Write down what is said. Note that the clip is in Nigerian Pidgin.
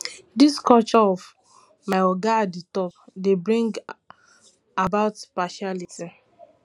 this culture of my oga at di tip dey bring about partiality